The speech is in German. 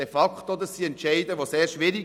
De facto sind solche Entscheide sehr schwierig.